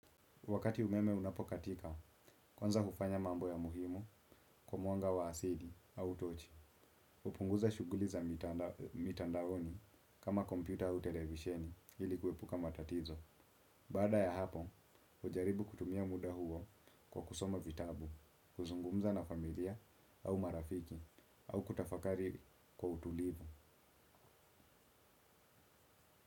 Wakati umeme unapokatika, kwanza hufanya mambo ya muhimu kwa mwanga wa asili au tochi. Hupunguza shughuli za mitandaoni kama kompyuta au televisheni ili kuepuka matatizo. Baada ya hapo, hujaribu kutumia muda huo kwa kusoma vitabu, kuzungumza na familia au marafiki au kutafakari kwa utulivu.